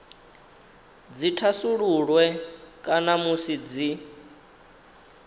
dzi thasululwe kana musi dzi